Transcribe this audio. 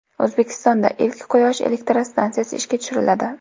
O‘zbekistonda ilk quyosh elektrostansiyasi ishga tushiriladi.